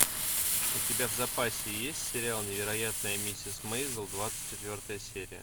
у тебя в запасе есть сериал невероятная миссис мейзл двадцать четвертая серия